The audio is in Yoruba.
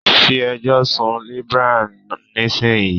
Report to Librarian Now